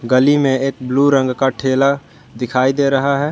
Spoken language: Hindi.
गली में एक ब्लू रंग का ठेला दिखाई दे रहा है।